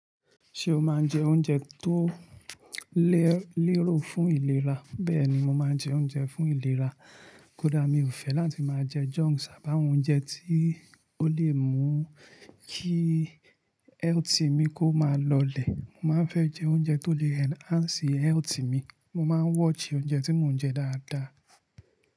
Ṣé o máa ń jẹ oúnjẹ tó lérò fún ìlera? Bẹ́ẹ̀ ni, mo máa ń jẹ oúnjẹ fún ìlera. Kódà mi ò fẹ́ láti máa jẹ junks à bá won òun jẹ tí ó lè mú kí health mi kó máa lọlẹ̀. Mo má ń fẹ́ jẹ oúnjẹ tó lè enhance health mi. Mo máa ń watch oúnjẹ tí mò ń jẹ dáadáa.